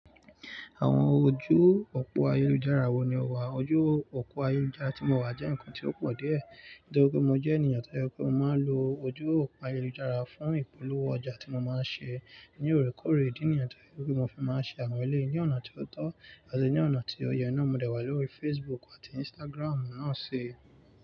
Àwọn ojú òpó ayélujára wo ni o wà? Ojú òpó ayélujára tí mo wà jẹ́ ǹkan tí ó pọ̀ díẹ̀, nítorí pé mo jẹ́ ènìyàn tó yẹ mó máa ń lo ojú òpó ayélujára fún ìpolówó ọjà tí mo máa ń ṣe ní òrèkóòrè. Idí nìyẹn tó jẹ pé mó fi máa ń ṣe àwọn eléyii ní ọ̀nà tó tọ́ àti ní ọ̀nà tí ó yẹ náà mo dẹ̀ wá lórí Facebook àti Instagram náà se.